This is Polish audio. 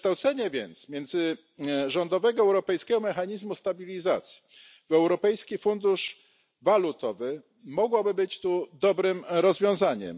Przekształcenie międzyrządowego Europejskiego Mechanizmu Stabilizacji w Europejski Fundusz Walutowy mogłoby więc być dobrym rozwiązaniem.